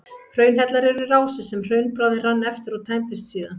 Hraunhellar eru rásir sem hraunbráðin rann eftir og tæmdust síðan.